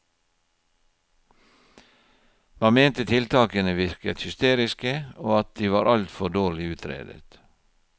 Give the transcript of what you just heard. Man mente tiltakene virket hysteriske, og at de var altfor dårlig utredet.